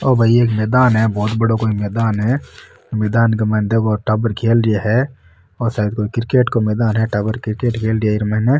यो भाई एक कोई मैदान है बहोत बड़ो कोई मैदान है मैदान के माइन देखो टावर खेल रा है वो साइड में क्रिकेट को मैदान है टाबर क्रिकेट खेल रहा हैं ईर माइन।